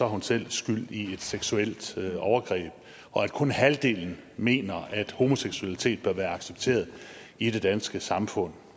hun selv skyld i et seksuelt overgreb og at kun halvdelen mener at homoseksualitet bør være accepteret i det danske samfund